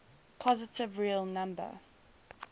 positive real number